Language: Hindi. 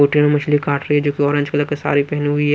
होटलमेंमछली काट रही है जो कि ऑरेंज कलर के साड़ीपहनी हुई है।